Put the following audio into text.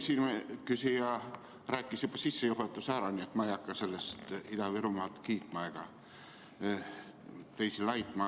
Minu eelküsija rääkis juba sissejuhatuse ära, nii et ma ei hakka siin Ida-Virumaad kiitma ega teisi laitma.